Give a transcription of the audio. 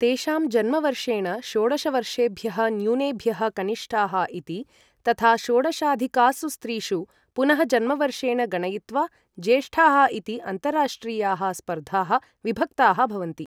तेषां जन्मवर्षेण षोडशवर्षेभ्यः न्यूनेभ्यः कनिष्ठाः इति, तथा षोडशाधिकासु स्त्रीषु पुनः जन्मवर्षेण गणयित्वा ज्येष्ठाः इति अन्ताराष्ट्रियाः स्पर्धाः विभक्ताः भवन्ति।